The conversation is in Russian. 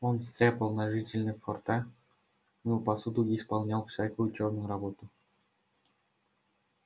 он стряпал на жителей форта мыл посуду и исполнял всякую чёрную работу